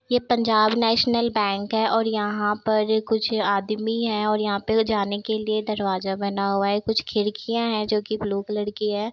ये Punjab National Bank है और यहाँ पर कुछ आदमी हैं और यहाँ पे जाने लिए कुछ दरवाजा बना हुआ है कुछ खिड़कियाँ हैं जो कि ब्लू कलर की है।